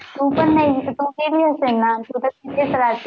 तु पण नाही, तु गेली असेल ना? येत